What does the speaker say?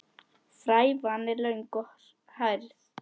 Frævan er löng og hærð.